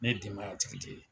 Ne ye denbaya tigi de ye.